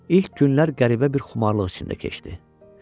İlk günlər qəribə bir xumarlıq içində keçdi.